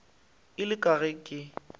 ile ka re ge ke